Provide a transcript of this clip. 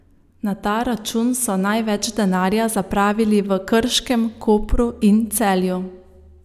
Na ta račun so največ denarja zapravili v Krškem, Kopru in Celju.